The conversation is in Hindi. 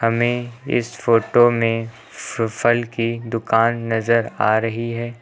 हमें इस फोटो में फ़ फल की दुकान नजर आ रही है।